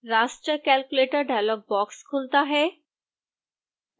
raster calculator dialog box खुलता है